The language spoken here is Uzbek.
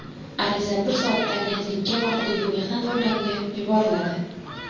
Ariza bir soatda agentlikka va hududiy mehnat organiga yuboriladi.